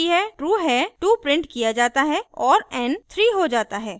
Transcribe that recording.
चूँकि यह true है 2 printed किया जाता है और n 3 हो जाता है